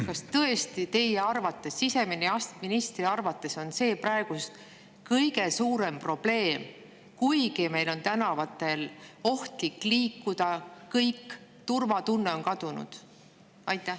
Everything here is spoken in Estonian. Kas tõesti teie, siseministri arvates on see praegu kõige suurem probleem, kuigi meil on praegu isegi tänaval ohtlik liikuda ja turvatunne on kadunud?